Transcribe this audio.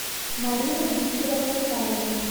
марина викторовна харина